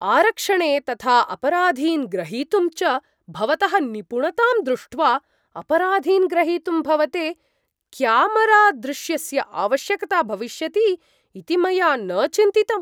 आरक्षणे तथा अपराधीन् ग्रहीतुं च भवतः निपुणतां दृष्ट्वा अपराधीन् ग्रहीतुं भवते क्यामरादृश्यस्य आवश्यकता भविष्यति इति मया न चिन्तितम्।